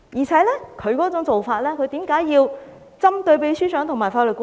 此外，他為何要針對秘書長和法律顧問？